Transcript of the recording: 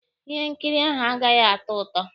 Ihe nkiri ahụ agaghị atọ ụtọ.